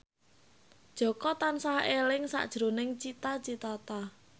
Jaka tansah eling sakjroning Cita Citata